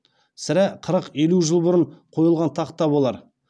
сірә қырық елу жыл бұрын қойылған тақта болар